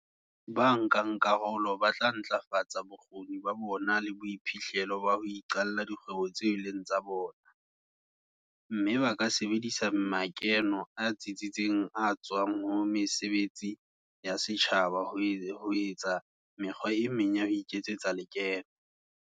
Bankakarolo ba tla ntlafatsa bokgoni ba bona le boiphihlelo ba ho iqalla dikgwebo tseo e leng tsa bona, mme ba ka sebedisa makeno a tsitseng a tswang ho mesebetsi ya setjhaba ho etsa mekgwa e meng ya ho iketsetsa lekeno.